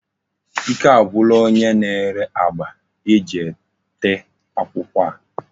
Ike agwula onye na-ere agba eji tee akwukwo a.